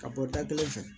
Ka bɔ da kelen fɛ